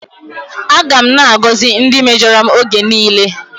Aga m na-agọzi ndị mejọrọ m oge niile.